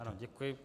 Ano, děkuji.